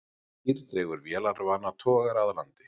Týr dregur vélarvana togara að landi